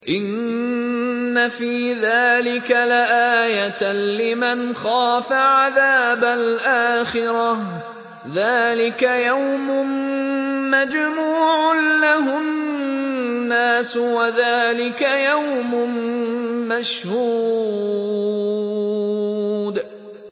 إِنَّ فِي ذَٰلِكَ لَآيَةً لِّمَنْ خَافَ عَذَابَ الْآخِرَةِ ۚ ذَٰلِكَ يَوْمٌ مَّجْمُوعٌ لَّهُ النَّاسُ وَذَٰلِكَ يَوْمٌ مَّشْهُودٌ